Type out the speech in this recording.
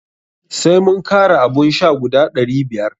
Sai mun kara abun sha guda ɗari biyar.